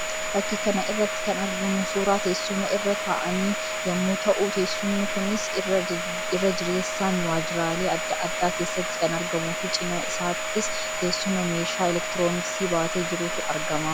Fakkii kana irratti kan argamu suuraa teessuma irra ta'an yammuu ta'u; teessumni kunis irra jireessaan waajjiraalee addaa addaa keessatti kan argamuu fi cina isaattis teessuma meeshaa elektirooniksii baatee jirutu argama.